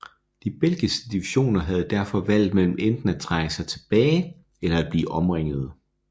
De belgiske divisioner havde derfor valget mellem enten at trække sig tilbage eller at blive omringede